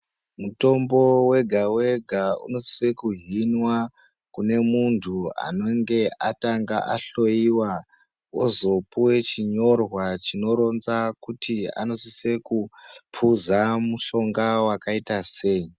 Mutombo wega wega unosise kuzinwa kune munhu anenge atanga ahloiwa ozopuwa chinyorwa chinoronza kuti anosisa kupuza wakaita sei.